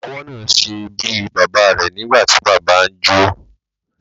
Ọmọwọ́ náà ṣe bíi bàbá rẹ̀ nígbàtí bàbá ẹ ń jó.